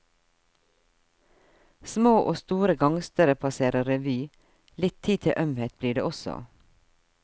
Små og store gangstere passerer revy, litt tid til ømhet blir det også.